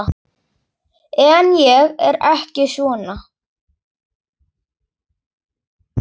En ég er ekki svona.